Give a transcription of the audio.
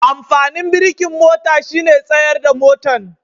Amfanin birikin mota shine tsayar da motan.